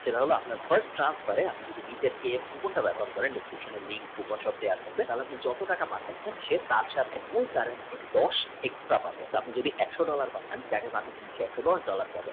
আপনার first transfer এ আপনি যদি নিচের coupon টা ব্যাবহার করেন description এ link coupon সব দাওয়া থাকবে আপনি যত টাকা পাঠাবেন তার সাথে দশ extra হবে আপনি যদি একশ dollar তাহলে আপনি একশদশ dollar পাবেন।